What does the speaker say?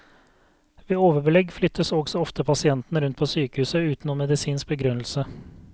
Ved overbelegg flyttes også ofte pasientene rundt på sykehuset uten noen medisinsk begrunnelse.